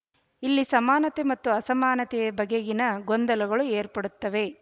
ಇಲ್ಲಿ ಸಮಾನತೆ ಮತ್ತು ಅಸಮಾನತೆಯ ಬಗೆಗಿನ ಗೊಂದಲಗಳು ಏರ್ಪಡುತ್ತವೆ